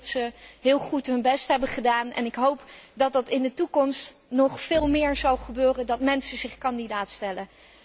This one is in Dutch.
Ze hebben heel goed hun best gedaan en ik hoop dat het in de toekomst nog veel meer zal gebeuren dat mensen zich kandidaat stellen.